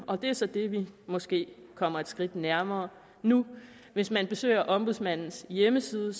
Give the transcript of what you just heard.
og det er så det vi måske kommer et skridt nærmere nu hvis man besøger ombudsmandens hjemmeside